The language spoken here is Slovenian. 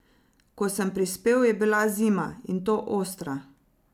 Ko sem prispel, je bila zima, in to ostra.